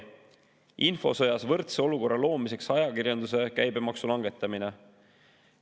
Infosõjas võrdse olukorra loomiseks ajakirjanduse käibemaksu langetamine.